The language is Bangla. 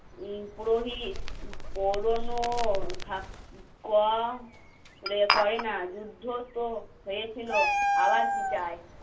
না উম পুরোহিত পুরনো করে না যুদ্ধ তো হয়েছিল আবার কি চাই